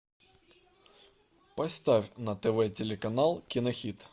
поставь на тв телеканал кинохит